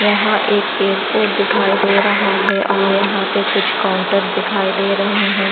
यहां एक एयरपोर्ट दिखाई दे रहा है और यहां पे कुछ काउंटर्स दिखाई दे रहे हैं।